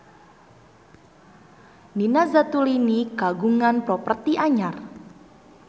Nina Zatulini kagungan properti anyar